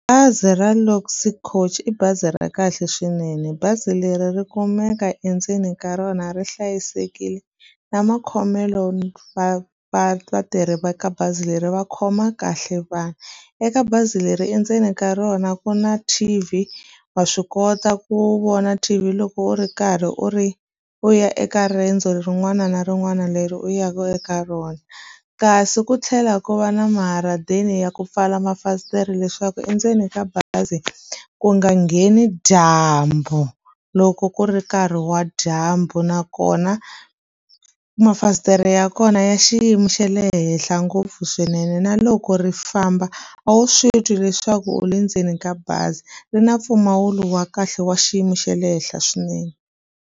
Bazi ra Luxury Coach i bazi ra kahle swinene bazi leri ri kumeka endzeni ka rona ri hlayisekile na makhomelo va vatirhi va ka bazi leri va khoma kahle vanhu eka bazi leri endzeni ka rona ku na T_V wa swi kota ku vona T_V loko u ri karhi u ri u ya eka rendzo rin'wana na rin'wana leri u ya ka eka rona kasi ku tlhela ku va na maharadeni ya ku pfala mafasitere leswaku endzeni ka bazi ku nga ngheni dyambu loko ku ri nkarhi wa dyambu nakona mafasitere ya kona ya xiyimo xa le henhla ngopfu swinene na loko ri famba a wu swi tivi leswaku u le ndzeni ka bazi ri na mpfumawulo wa kahle wa xiyimo xa le henhla swinene.